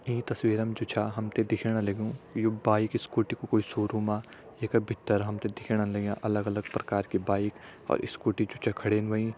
ईं तस्वीरम जु छा हम तें दिखेण लग्युं यु बाइक स्कूटी कु कोई शोरूमा ये का भितर हम तें दिखेण लग्यां अलग अलग प्रकारा की बाइक और स्कूटी जु छ खड़ीन होईं।